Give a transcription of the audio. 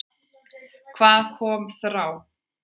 Hvað kom yfir okkur þá?